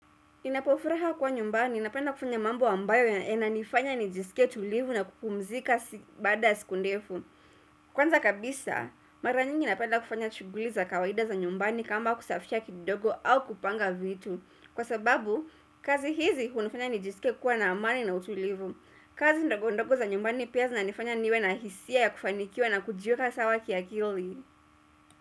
Ninapofuraha kwa nyumbani, napenda kufanya mambo ambayo yananifanya nijisike tulivu na kupumzika baada siku ndefu. Kwanza kabisa, mara nyingi napenda kufanya shughuli za kawaida za nyumbani kama kusafisha kidogo au kupanga vitu. Kwa sababu, kazi hizi hunifanya nijisike kuwa na amani na utulivu. Kazi ndogo ndogo za nyumbani pia zinanifanya niwe na hisia ya kufanikiwa na kujiweka sawa kiakili.